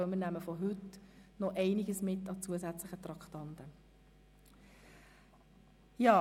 Vom heutigen Tag nehmen wir noch einige zusätzliche Traktanden mit.